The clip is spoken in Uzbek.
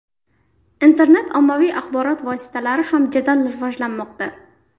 Internet ommaviy axborot vositalari ham jadal rivojlanmoqda.